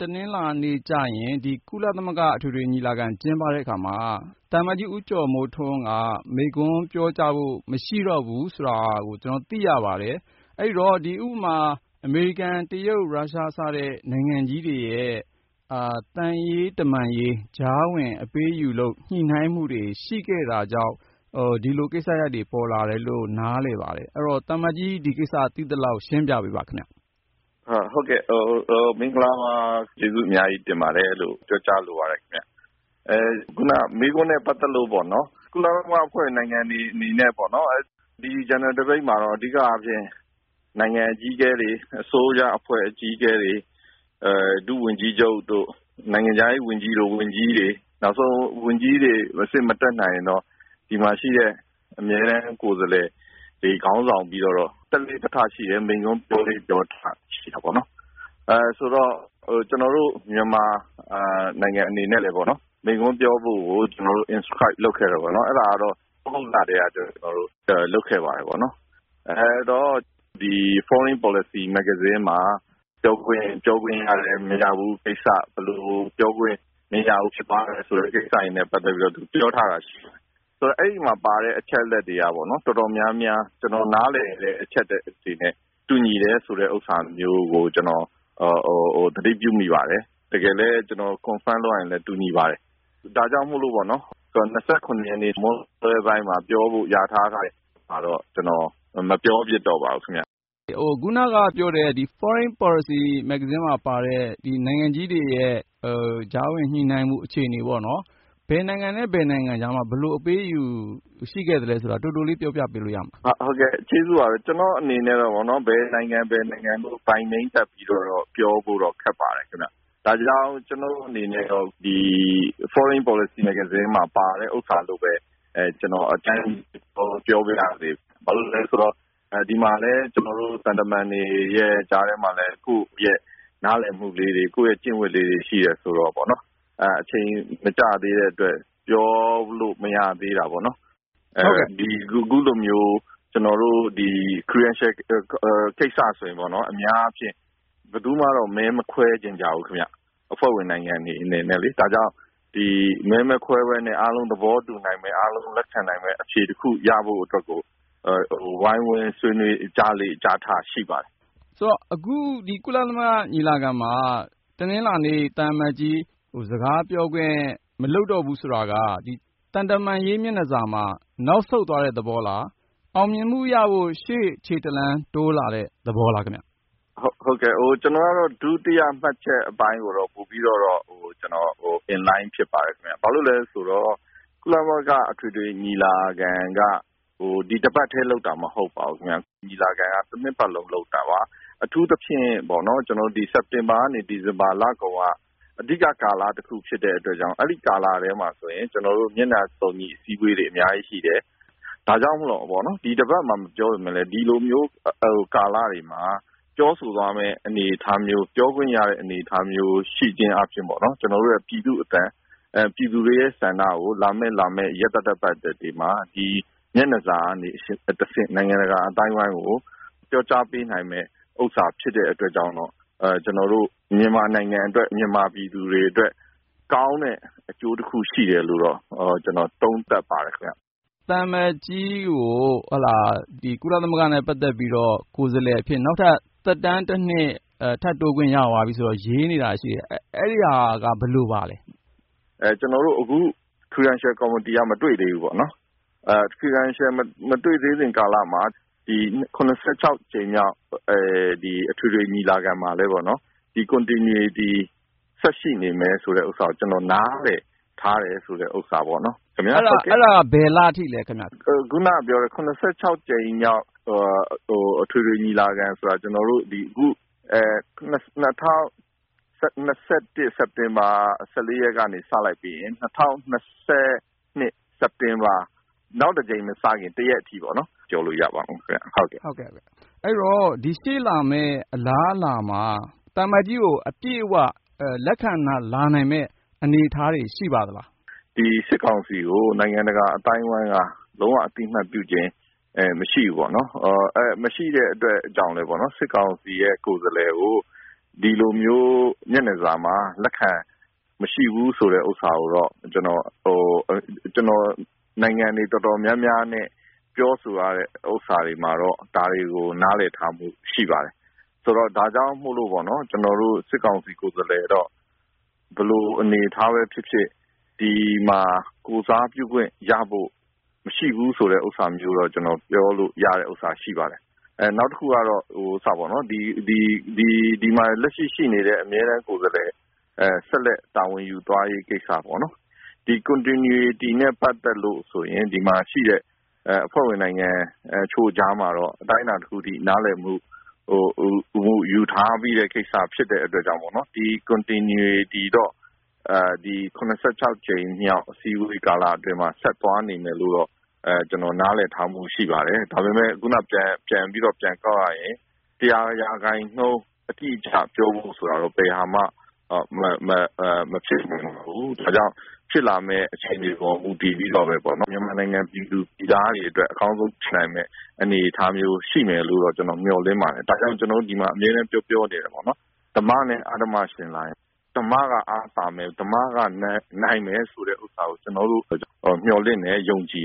တနင်္လာနေ့ ကုလသမဂ္ဂ အထွေထွေညီလာခံ ကျင်းပတဲ့အခါမှာ သံအမတ်ကြီး ဦးကျော်မိုးထွန်းက မိန့်ခွန်းပြောကြားဖို့ မရှိတော့ဘူးဆိုတာ ကျနော်တို့ သိရပါတယ်။ အဲဒီတော့ ဥပမာ အမေရိကန်၊ တရုတ်၊ ရုရှား စတဲ့ နိုင်ငံကြီးတွေရဲ့ သံရေးတမန်ရေး ကြားဝင် အပေးအယူ ညှိနှိုင်းမှုတွေ ရှိခဲ့တာကြောင့် ဒီလိုကိစ္စရပ်တွေ ပေါ်လာတယ်လို့ နားလည်ပါတယ်။ အဲဒီတော့ သံအမတ်ကြီး ဒီကိစ္စ သိသလောက် ရှင်းပြပေးပါခင်ဗျ။ ဦးကျော်မိုးထွန်း - “ဟုတ်ကဲ့၊ မင်္ဂလာပါ ကျေးဇူးအများကြီးတင်ပါတယ်လို့ ပြောကြားလိုပါတယ်ခင်ဗျ။ ခုနမေးခွန်းနဲ့ ပတ်သက်လို့ ကုလသမဂ္ဂအဖွဲ့ဝင် နိုင်ငံတွေအနေနဲ့ ဒီ General Debate မှာတော့ အဓိကအားဖြင့် နိုင်ငံအကြီးအကဲတွေ၊ အစိုးရအဖွဲ့ အကြီးအကဲတွေ၊ ဒုဝန်ကြီးချုပ်တို့၊ နိုင်ငံခြားရေးဝန်ကြီးတို့၊ ဝန်ကြီးတွေ၊ နောက်ဆုံး ဝန်ကြီးတွေအဆင့် မတက်နိုင်ရင်တော့ ဒီမှာရှိတဲ့ အမြဲတမ်းကိုယ်စားလှယ်တွေ ခေါင်းဆောင်ပြီး တက်လေ့တက်ထရှိတယ်၊ မိန့်ခွန်း ပြောလေ့ပြောထ ရှိတာပေါ့။ ကျနော်တို့ မြန်မာနိုင်ငံ အနေနဲ့လည်း မိန့်ခွန်းပြောဖို့ကို ကျနော်တို့ Inscribe လုပ်ခဲ့တယ်၊ အဲဒါကတော့ သြဂုတ်ကလည်းက ကျနော်တို့ လုပ်ခဲ့ပါတယ်။ Foreign Policy မဂ္ဂဇင်းမှာ ပြောခွင့်ရတယ်၊ မရဘူးကိစ္စ၊ ဘယ်လို ပြောခွင့်မရဘူး ဖြစ်ပါးတယ်ဆိုတဲ့ ကိစ္စတွေနဲ့ ပတ်သက်ပြီးတော့ ပြောထားတာရှိတယ်။ အဲဒီမှာပါတဲ့ အချက်အလက်တွေက တော်တော်များများ ကျနော်နားလည်တဲ့ အချက်အလက်တွေနဲ့ တူညီတယ်ဆိုတာမျိုး ကျနော် သတိပြုမိပါတယ်။ တကယ်လည်း ကျနော် Confirm လုပ်ရရင်လည်း တူညီပါတယ်။ ဒါကြောင့် ၂၇ ရက်နေ့ မွန်းလွဲပိုင်းမှာ ပြောဖို့ လျာထားတဲ့ဟာတော့ ကျနော် မပြောဖြစ်တော့ပါဘူး။” ကိုဉာဏ်ဝင်းအောင် - ခုနပြောတဲ့ Foreign Policy မဂ္ဂဇင်းမှာပါတဲ့ နိုင်ငံကြီးတွေရဲ့ ကြားဝင်ညှိနှိုင်းမှု အခြေအနေ၊ ဘယ်နိုင်ငံနဲ့ ဘယ်နိုင်ငံကြားမှာ ဘယ်လို အပေးအယူ ရှိခဲ့သလဲဆိုတာ တိုတိုလေး ပြောပြပေးလို့ရမလား။ ဦးကျော်မိုးထွန်း - “ကျနော့်အနေနဲ့တော့ ဘယ်နိုင်ငံ၊ ဘယ်နိုင်ငံလို့ နာမည်တပ်ပြီးတော့ ပြောဖို့တော့ ခက်ပါတယ်။ ဒါကြောင့် ကျနော့်အနေနဲ့တော့ Foreign Policy မဂ္ဂဇင်းမှာ ပါတဲ့ဥစ္စာလို့ပဲ အကြမ်းဖျင်း ပြောပါရစေ။ ဘာဖြစ်လို့လဲဆိုတော့ ဒီမှာလည်း သံတမန်တွေ ကြားထဲမှာလည်း ကိုယ့်ရဲ့ နားလည်မှုလေးတွေ၊ ကျင့်ဝတ်လေးတွေ ရှိတယ်ဆိုတော့ အချိန်မကျသေးတဲ့အတွက် ပြောလို့မရသေးတာပေါ့။ အခုလိုမျိုး Credentials ကိစ္စဆိုရင် အများအားဖြင့် ဘယ်သူမှတော့ မဲမခွဲချင်ကြဘူး၊ အဖွဲ့ဝင်နိုင်ငံတွေ အနေနဲ့။ ဒါကြောင့် မဲမခွဲဘဲနဲ့ အားလုံးသဘောတူနိုင်မယ့်၊ အားလုံး လက်ခံနိုင်မယ့် အဖြေတခု ရဖို့အတွက်ကို ဝိုင်းဝန်းဆွေးနွေး ကြားလေ့ ကြားထ ရှိပါတယ်။” ကိုဉာဏ်ဝင်းအောင် - အခု ကုလသမဂ္ဂ ညီလာခံမှာ တနင်္လာနေ့ သံအမတ်ကြီး စကားမပြောတော့ဘူး ဆိုတာက သံတမန်ရေး မျက်နှာစာမှာ နောက်ဆုတ်သွားတဲ့သဘောလား၊ အောင်မြင်မှုရဖို့ ရှေ့ခြေတလှမ်း တိုးလာတဲ့ သဘောလား။ ဦးကျော်မိုးထွန်း - “ကျနော်ကတော့ ဒုတိယမှတ်ချက် အပိုင်းကိုတော့ ပိုပြီးတော့ In Line ဖြစ်ပါတယ်။ ဘာဖြစ်လို့လဲဆိုတော့ ကုလသမဂ္ဂ အထွေထွေညီလာခံက ဒီတပတ်တည်း လုပ်တာမဟုတ်ပါဘူး။ ညီလာခံက တနှစ်ပတ်လုံး လုပ်တာပါ။ အထူးသဖြင့် စက်တင်ဘာကနေ ဒီဇင်ဘာလကုန်က အဓိကကာလတခု ဖြစ်တဲ့အတွက်ကြောင့် အဲဒီကာလထဲမှာဆိုရင် မျက်နှာစုံညီ အစည်းအဝေးတွေ အများကြီးရှိတယ်။ ဒါကြောင့် ဒီတပတ်မှာ မပြောပေမယ့်လည်း ဒီလိုမျိုး ကာလတွေမှာ ပြောဆိုသွားမယ့် အနေအထားမျိုး ပြောခွင့်ရတဲ့ အနေအထားမျိုး ရှိခြင်းအားဖြင့် ကျနော်တို့ရဲ့ ပြည်သူ့အသံ၊ ပြည်သူတွေရဲ့ ဆန္ဒကို လာမယ့် ရက်သတ္တပတ်တွေမှာ ဒီမျက်နှာစာကတဆင့် နိုင်ငံတကာ အသိုင်းအဝိုင်းကို ပြောကြားပေးနိုင်မယ့်ဥစ္စာ ဖြစ်တဲ့အတွက်ကြောင့်တော့ ကျနော်တို့ မြန်မာနိုင်ငံအတွက်၊ မြန်မာပြည်သူတွေအတွက် ကောင်းတဲ့အကျိုးတခု ရှိတယ်လို့တော့ ကျနော် သုံးသပ်ပါတယ်။” ကိုဉာဏ်ဝင်းအောင် - သံအမတ်ကြီးကို ကုလသမဂ္ဂနဲ့ ပတ်သက်ပြီးတော့ ကိုယ်စားလှယ်အဖြစ် နောက်ထပ် သက်တမ်းတနှစ် ထပ်တိုးခွင့်ရသွားပြီဆိုပြီး ရေးနေတာ ရှိတယ်။ အဲဒီဟာက ဘယ်လိုပါလဲ။ ဦးကျော်မိုးထွန်း - “ကျနော်တို့ အခု Credentials Committee က မတွေ့သေးဘူးပေ့ါ။ Credentials မတွေ့သေးခင်ကာလမှာ ၇၆ ကြိမ်မြောက် အထွေထွေညီလာခံမှာလည်း ဒီ Continuity ဆက်ရှိနေမယ်ဆိုတာ ကျနော်နားလည်ထားတယ်ဆိုတဲ့ဟာပေါ့။” ကိုဉာဏ်ဝင်းအောင် - အဲဒါ ဘယ်လအထိလဲခင်ဗျ။ ဦးကျော်မိုးထွန်း - “၇၆ ကြိမ်မြောက် အထွေထွေညီလာခံဆိုတာ ၂၀၂၁ စက်တင်ဘာ ၁၄ ရက်က စလိုက်ပြီးရင် ၂၀၂၂ စက်တင်ဘာ၊ နောက်တကြိမ်မစခင် တရက်အထိပေါ့ ပြောလို့ရပါတယ်ခင်ဗျ။” ကိုဉာဏ်ဝင်းအောင် - အဲဒီတော့ ဒီ ရှေ့လာမယ့် အလားအလာမှာ သံအမတ်ကြီးကို အပြည့်အဝ လက်ခံလာနိုင်မယ့် အနေအထားတွေ ရှိပါသလား။ ဦးကျော်မိုးထွန်း - “ဒီ စစ်ကောင်စီကို နိုင်ငံတကာ အသိုင်းအဝိုင်းက လုံးဝ အသိအမှတ်ပြုခြင်း မရှိဘူးပေါ့နော်။ မရှိတဲ့အတွက်ကြောင့်လည်းပေါ့နော်၊ စစ်ကောင်စီရဲ့ ကိုယ်စားလှယ်ကို ဒီလိုမျိုး မျက်နှာစာမှာ လက်ခံဖို့မရှိဘူး ဆိုတာကိုတော့ ကျနော် နိုင်ငံတွေ အတော်များများနဲ့ ပြောဆိုထားချက်အရ ဒါတွေကို သိထားရပါတယ်။ ဒါကြောင့်မို့လို့ပေါ့နော် စစ်ကောင်စီ ကိုယ်စားလှယ်ကတော့ ဘယ်လိုအနေအထားနဲ့ပဲ ဖြစ်ဖြစ် ဒီမှာ ကိုယ်စားပြုခွင့်ရဖို့ မရှိဘူးဆိုတာမျိုးတော့ ကျနော် ပြောလို့ရပါတယ်။ နောက်တခုက ဒီမှာ လက်ရှိ ရှိနေတဲ့ အမြဲတမ်းကိုယ်စားလှယ် ဆက်လက်တာဝန်ယူသွားရေး ကိစ္စပေ့ါနော်၊ ဒီ Continuity နဲ့ ပတ်သက်လို့ဆိုရင် ဒီမှာရှိတဲ့ အဖွဲ့ဝင်နိုင်ငံတချို့ ကြားမှာတော့ အတိုင်းအတာတခုထိ နားလည်မှု ယူထားပြီးတဲ့ကိစ္စ ဖြစ်တဲ့အတွက်ကြောင့် မို့လို့ပေါ့နော်၊ ဒီ Continuity ကတော့ ၇၆ ကြိမ်မြောက် ကုလညီလာခံ အစည်းအဝေးကာလအတွင်းမှာ ဆက်သွားနေမယ်လို့တော့ ကျနော် နားလည်ထားပါတယ်။ ဒါပေမယ့် ခုနကဟာကို ပြန်ကောက်ရရင် ၁၀၀ ရာခိုင်နှုန်း အတိအကျပြောဖို့ ဆိုတာကတော့ ဘယ်အရာမှ မဖြစ်နိုင်ဘူး။ နောက်ဖြစ်လာမယ့် အခြေအနေပေါ် မူတည်ပြီးတော့ မြန်မာနိုင်ငံ ပြည်သူပြည်သားတွေအတွက် အကောင်းဆုံးဖြစ်နိုင်မယ့် အနေအထားမျိုး ရှိမယ်လို့တော့ ကျနော် မျှော်လင့်ပါတယ်။ ဒါကြောင့် ဒီမှာ ကျနော်တို့ အမြဲတမ်း ပြောပြောနေတာက ဓမ္မနဲ့ အဓမ္မ ယှဉ်လာရင် ဓမ္မက အားသာမယ်၊ ဓမ္မက နိုင်မယ် ဆိုတဲ့ဥစ္စာကို ကျနော်တို့ မျှော်လင့်တယ်၊ ယုံကြည်